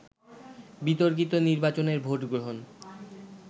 বিতর্কিত নির্বাচনের ভোট গ্রহণ